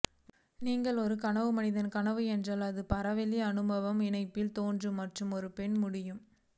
நீங்கள் ஒரு கனவு மனிதன் கனவு என்றால் அதே பரவெளி அனுமான இணைப்பு தோன்றும் மற்றும் ஒரு பெண் முடியும்